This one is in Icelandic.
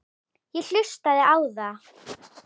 Ég hlustaði á þá.